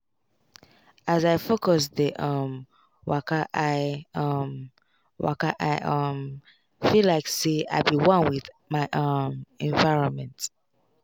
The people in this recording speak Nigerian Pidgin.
as i focus dey um wakai um wakai um feel like say i be one with my um environment.